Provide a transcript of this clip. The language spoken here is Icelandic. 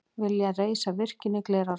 Vilja reisa virkjun í Glerárdal